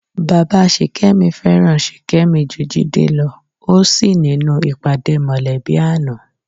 Bàbá Sìkẹ́mi fẹ́ràn Ṣìkẹ́mi ju Jídé lọ ó sì nínú ìpàdé mọ̀lẹ́bí àná